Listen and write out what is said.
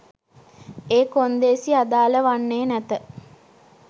ඒ කොන්දේසි අදාල වන්නේ නැත